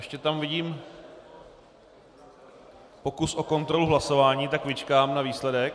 Ještě tam vidím pokus o kontrolu hlasování, tak vyčkám na výsledek.